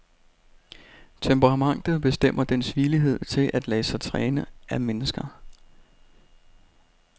Temperamentet bestemmer dens villighed til at lade sig træne af mennesker.